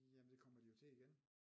Jamen det kommer de jo til igen